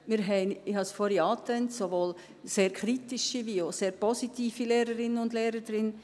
Wir haben – ich habe es vorhin angetönt – sowohl sehr kritische wie auch sehr positive Lehrerinnen und Lehrer drin.